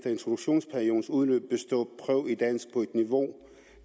introduktionsperiodens udløb består prøve i dansk på niveau